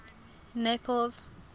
naples